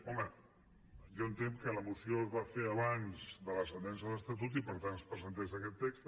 home jo entenc que la moció es va fer abans de la sentència de l’estatut i que per tant es presentés aquest text